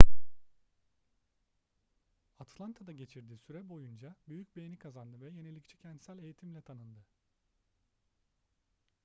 atlanta'da geçirdiği süre boyunca büyük beğeni kazandı ve yenilikçi kentsel eğitimle tanındı